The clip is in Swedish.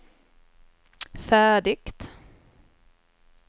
färdigt